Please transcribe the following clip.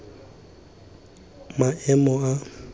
maemo a a kwa tlase